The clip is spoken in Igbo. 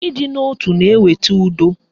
Ịdị n'otu na-eweta udo